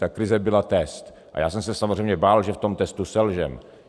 Ta krize byla test a já jsem se samozřejmě bál, že v tom testu selžeme.